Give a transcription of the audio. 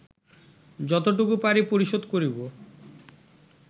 যতটুকু পারি পরিশোধ করিব